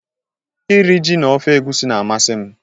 Nri ji na ofe egwusi na-amasị m.